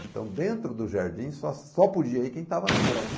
Então dentro do jardim só só podia ir quem estava namorando.